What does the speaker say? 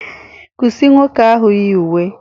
Kwụsị nwoke ahụ yi uwe